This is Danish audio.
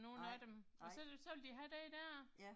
Nej, nej. Ja